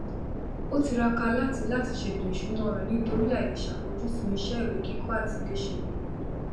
ó tiraka láti láti ṣètò ìṣúná rẹ nítorí àìlèṣafojúsùn iṣẹ ìwé kíkọ àtiléṣe rẹ